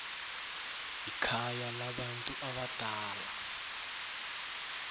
ikhaya labantu abadala